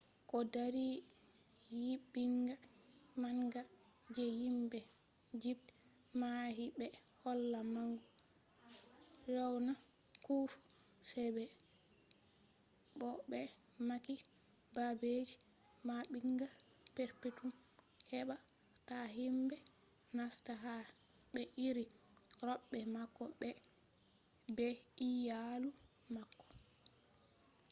ko dari nyiɓinga manga je himɓe igipt mahi ɓe holla mangu fir’auna kufu sai bo ɓe mahi babeji maɓɓinga perpetum heɓa ta himɓe nasta ha ɓe iri roɓe mako be iyaalu mako